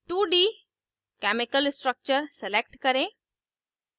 2d chemical structure select करें